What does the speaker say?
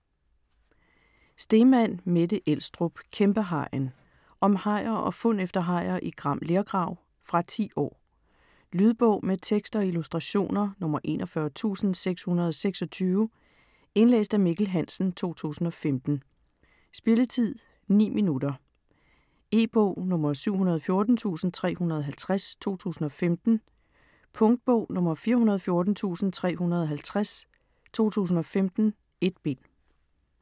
Steeman, Mette Elstrup: Kæmpehajen Om hajer og fund efter hajer i Gram Lergrav. Fra 10 år. Lydbog med tekst og illustrationer 41626 Indlæst af Mikkel Hansen, 2015. Spilletid: 0 timer, 9 minutter. E-bog 714350 2015. Punktbog 414350 2015. 1 bind.